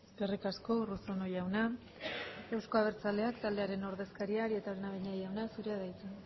eskerrik asko urruzuno jauna euzko abertzaleak taldearen ordezkaria arieta araunabeña jauna zurea da hitza